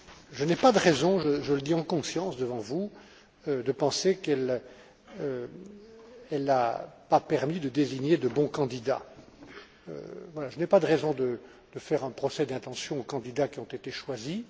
Je n'ai pas de raison je le dis en conscience devant vous de penser qu'elle n'a pas permis de désigner de bons candidats. Je n'ai pas de raison de faire un procès d'intention aux candidats qui ont été choisis.